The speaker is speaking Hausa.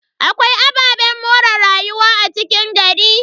Akwai ababen more rayuwa a cikin gari.